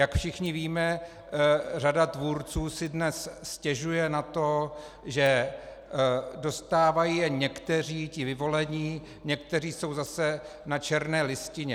Jak všichni víme, řada tvůrců si dnes stěžuje na to, že dostávají jen někteří, ti vyvolení, někteří jsou zase na černé listině.